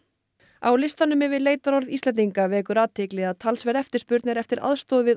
á listanum yfir leitarorð Íslendinga vekur athygli að talsverð eftirspurn er eftir aðstoð við